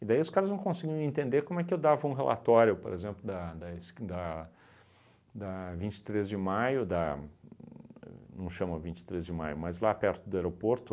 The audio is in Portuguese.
E daí os caras não conseguiam entender como é que eu dava um relatório, por exemplo, da da esq da da vinte e três de maio, da uhn não chama vinte e três de maio, mas lá perto do aeroporto.